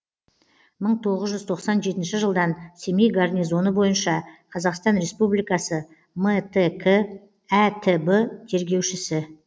мың тоғыз жүз тоқсан жетінші жылдан семей гарнизоны бойынша қазақстан республикасы мтк әтб тергеушісі